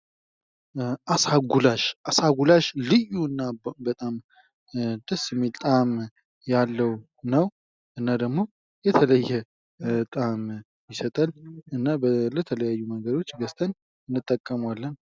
አሳ ጉላሽ አሳ ጉላሽ ልዩ እና በጣም ደስ የሚል ጣእም ያለው ነው እና ደግሞ የተለየ ጣእም ይሰጣል እና በተለያዩ መንገዶች ገዝተን እንጠቀመዋለን።